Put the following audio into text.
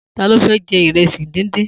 Ta ló fẹ́ jẹ ìrẹsì díndín?